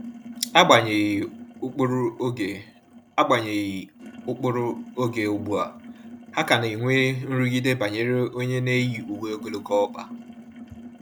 Agbanyeghi ụkpụrụ oge Agbanyeghi ụkpụrụ oge ugbua, ha ka na enwe nrụgide banyere onye n'eyi uwe ogologo ọkpa